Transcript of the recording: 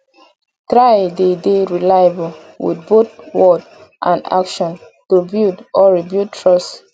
try de dey reliable with both word and action to build or rebuild trust